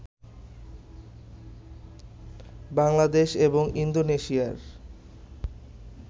বাংলাদেশ এবং ইন্দোনেশিয়ার